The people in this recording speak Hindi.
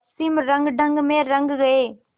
पश्चिमी रंगढंग में रंग गए